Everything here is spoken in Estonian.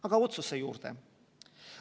Aga nüüd otsuse juurde.